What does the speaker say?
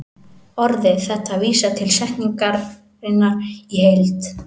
Orðið þetta vísar til setningarinnar í heild.